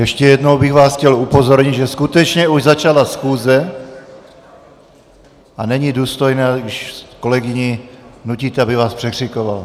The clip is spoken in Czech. Ještě jednou bych vás chtěl upozornit, že skutečně už začala schůze a není důstojné, když kolegyni nutíte, aby vás překřikovala.